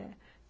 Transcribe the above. Ah, é?